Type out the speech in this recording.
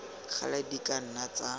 gale di ka nna tsa